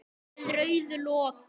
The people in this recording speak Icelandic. Með rauðu loki.